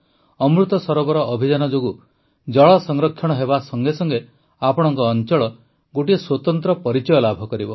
ଅମୃତ ସରୋବର ଅଭିଯାନ ଯୋଗୁଁ ଜଳ ସଂରକ୍ଷଣ ହେବା ସଙ୍ଗେ ସଙ୍ଗେ ଆପଣଙ୍କ ଅଂଚଳ ଗୋଟିଏ ସ୍ୱତନ୍ତ୍ର ପରିଚୟ ଲାଭ କରିବ